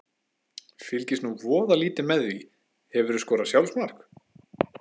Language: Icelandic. Fylgist nú voða lítið með því Hefurðu skorað sjálfsmark?